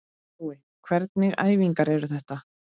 Jói, hvernig æfingar eru þetta?